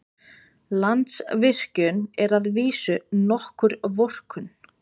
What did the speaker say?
Landsvirkjun er að vísu nokkur vorkunn.